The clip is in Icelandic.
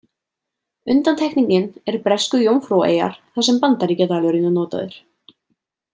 Undantekningin er Bresku Jómfrúaeyjar þar sem bandaríkjadalurinn er notaður.